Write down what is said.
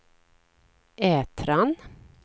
Ätran